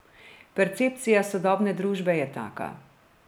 Percepcija sodobne družbe je taka.